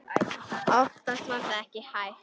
Oftast var það ekki hægt.